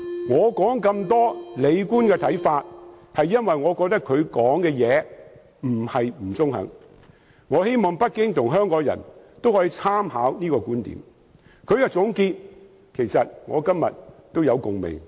我詳細說明李官的看法，因為我覺得他的話很中肯，我希望北京政府及香港人都能夠參考他的觀點，他的總結也令我有共鳴。